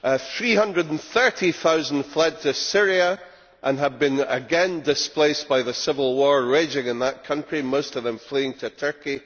Three hundred and thirty thousand fled to Syria and have been again displaced by the civil war raging in that country, most of them fleeing to Turkey.